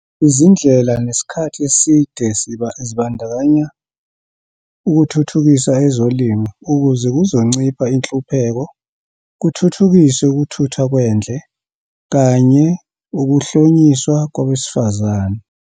Izindlela zesikhathi eside zibandakanya ukuthuthukisa ezolimo, ukuze kuzoncipha inhlupheko, kuthuthukiswe ukuthuthwa kwendle, kanye ukuhlonyiswa kwabesifazane.